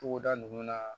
Togoda nunnu na